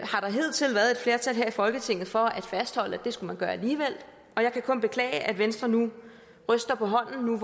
hidtil været et flertal her i folketinget for at fastholde at man skulle gøre alligevel og jeg kan kun beklage at venstre ryster på hånden